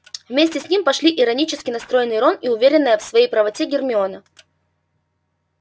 вместе с ним пошли иронически настроенный рон и уверенная в своей правоте гермиона